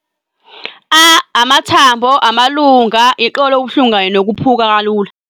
A - Amathambo, amalunga, iqolo okubuhlungu kanye nokuphuka kalula.